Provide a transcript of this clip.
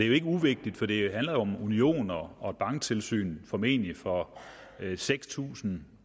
jo ikke uvigtigt for det handler om union og og banktilsyn formentlig for seks tusind